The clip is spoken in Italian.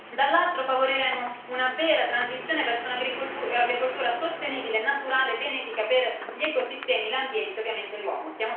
Dall'altro favoriremmo una vera transizione verso un'agricoltura sostenibile e naturale benefica per gli ecosistemi, l'ambiente e, ovviamente, l'uomo.